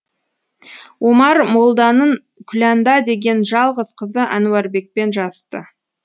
омар молданын күләнда деген жалғыз қызы әнуарбекпен жасты